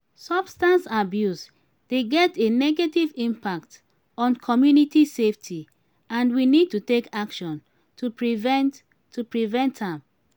substance abuse dey get a negative impact on community safety and we need to take action to prevent to prevent am.